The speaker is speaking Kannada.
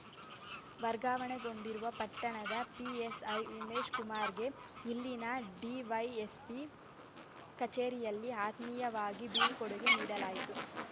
ವರ್ಗಾವಣೆಗೊಂಡಿರುವ ಪಟ್ಟಣದ ಪಿಎಸ್‌ಐ ಉಮೇಶ ಕುಮಾರಗೆ ಇಲ್ಲಿನ ಡಿವೈಎಸ್ಪಿ ಕಚೇರಿಯಲ್ಲಿ ಆತ್ಮೀಯವಾಗಿ ಬೀಳ್ಕೊಡುಗೆ ನೀಡಲಾಯಿತು